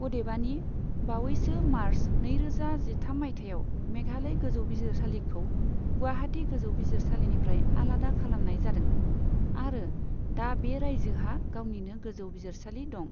अदेबानि, बावैसो मार्च नैरोजा जिथाम मायथाइयाव, मेघालय गोजौ बिजिरसालिखौ गुवाहाटी गोजौ बिजिरसालिनिफ्राय आलादा खालामनाय जादों आरो दा बे रायजोहा गावनिनो गोजौ बिजिरसालि दं।